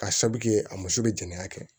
Ka sabu kɛ a muso be jeni a kɛ